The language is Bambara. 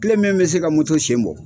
Kile min bɛ se ka moto sen bɔ,